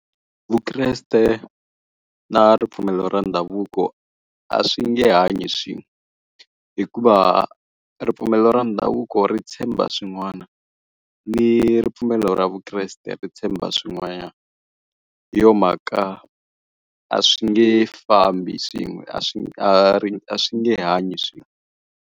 Vukreste na ripfumelo ra ndhavuko a swi nge hanyi swin'we. Hikuva, ripfumelo ra ndhavuko ri tshemba swin'wana ni ripfumelo ra vukreste ri tshemba swin'wanyana. Hi yona mhaka, a swi nge fambi swin'we a swi a swi nge hanyi swin'we.